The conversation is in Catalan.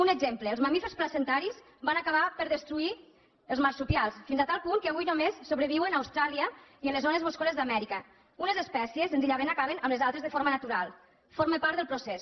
un exemple els mamífers placentaris van acabar per destruir els marsupials fins a tal punt que avui només sobreviuen a austràlia i en las zones boscoses d’amèrica unes espècies senzillament acaben amb les altres de forma natural forma part del procés